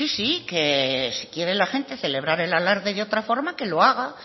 sí sí que si quiere la gente celebrar el alarde de otra forma que lo haga